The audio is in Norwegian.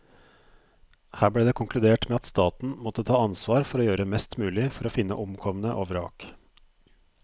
Her ble det konkludert med at staten måtte ta ansvar for å gjøre mest mulig for å finne omkomne og vrak.